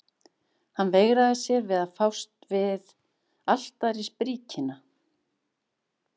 Hann veigraði sér við að fást við altarisbríkina.